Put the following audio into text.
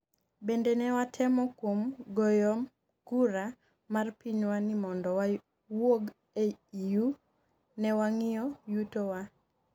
bende ne watemo kuom goyom kura mar pinywa ni mondo wawuog e EU, ne wang'iyo yuto wa